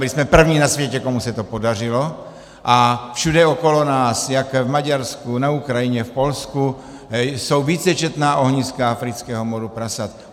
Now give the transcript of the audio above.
Byli jsme první na světě, komu se to podařilo, a všude okolo nás, jak v Maďarsku, na Ukrajině, v Polsku, jsou vícečetná ohniska afrického moru prasat.